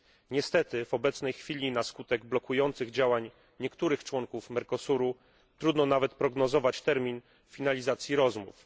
Niestety w obecnej chwili na skutek blokujących działań niektórych członków Mercosuru trudno nawet prognozować termin finalizacji rozmów.